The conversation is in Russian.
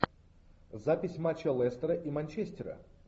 запись матча лестера и манчестера